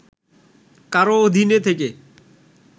কারও অধীনে থেকে